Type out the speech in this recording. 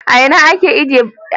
A ina ake buga jaridar Triump?